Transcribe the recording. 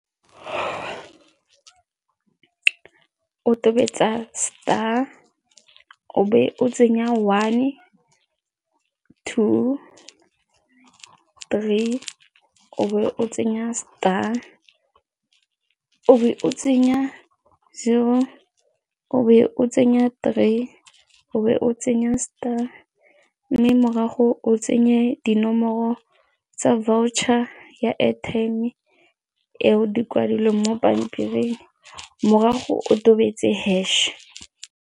O tobetsa star, o be o tsenya one two three, o be o tsenya star, o be o tsenya zero, o be o tsenya three, o be o tsenya star mme morago o tsenye dinomoro tsa voucher ya airtime eo di kwadilweng mo pampiring morago o tobetsa hash.